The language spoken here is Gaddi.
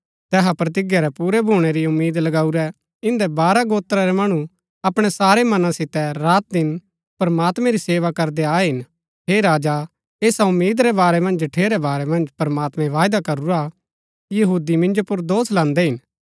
तैहा प्रतिज्ञा रै पूरै भूणै री उम्मीद लगाऊरै इन्दै बारह गोत्रा रै मणु अपणै सारै मना सितै रातदिन प्रमात्मैं री सेवा करदै आये हिन हे राजा ऐसा उम्मीद रै बारै मन्ज जठेरै बारै मन्ज प्रमात्मैं वायदा करूरा हा यहूदी मिन्जो पुर दोष लान्दै हिन